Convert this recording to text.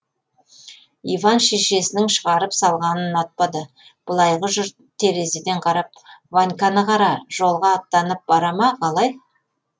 иван шешесінің шығарып салғанын ұнатпады былайғы жұрт терезеден қарап ваньканы қара жолға аттанып бара ма қалай